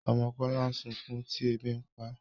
ọmọ Kola sunkún tí ẹbi ǹ pá